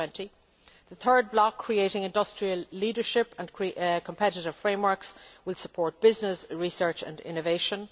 2020. The third block, Creating industrial leadership and competitive frameworks', will support business, research and innovation.